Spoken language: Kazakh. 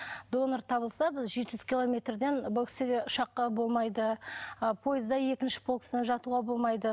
донор табылса біз жеті жүз километрден бұл кісіге ұшаққа болмайды ы пойызда екінші полкасына жатуға болмайды